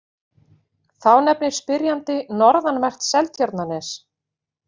Þá nefnir spyrjandi norðanvert Seltjarnarnes.